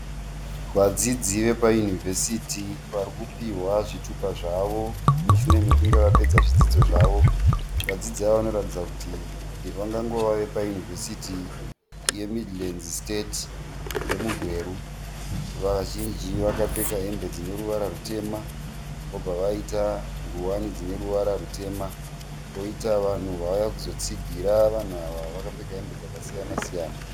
Vadzidzi vepayunivhesiti vari kupiwa zvitupa zvavo mushure mekunge vapedza zvidzidzo zvavo. Vadzidzi ava vanoratidza kuti vangangove vepayunivhesiti yeMidlands State yemuGweru. Vazhinji vakapfeka hembe dzine ruvara rutema, vobva vaita ngowani dzine ruvara rutema kwoita vanhu vauya kuzotsigira vanhu ava vakapfeka hembe dzakasiyana-siyana.